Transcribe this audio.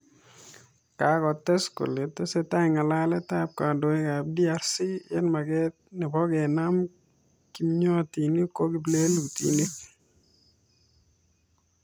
Kakotes kolee tesetai ng'alalet ak kandoik ap DRC eng maket nepo kenam kimwotyin ko kiplelutinik